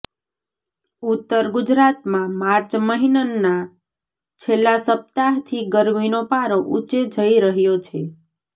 ઉત્તર ગુજરાતમાં માર્ચ મહિનના છેલ્લા સપ્તાહથી ગરમીનો પારો ઊંચે જઇ રહયો છે